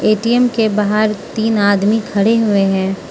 ATM के बाहर तीन आदमी खड़े हुए हैं।